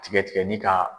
Tigɛ tigɛli ka